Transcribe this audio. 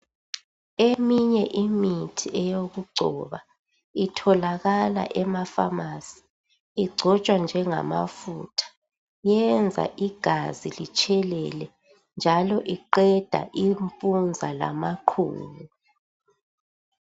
Eminye imithi eyokugcoba itholakala emaphamarcy igcotswa njengamafutha iyenza igazi litshelela njalo iqeda impunza lamaqhubu